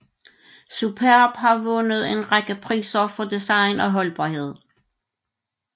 Superb har vundet en række priser for design og holdbarhed